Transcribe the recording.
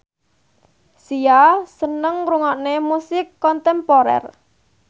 Sia seneng ngrungokne musik kontemporer